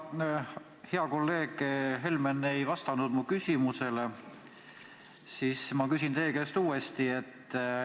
Kuna hea kolleeg Helmen ei vastanud mu küsimusele, siis ma küsin teie käest uuesti.